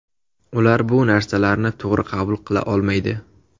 Ular bu narsalarni to‘g‘ri qabul qila olmaydi.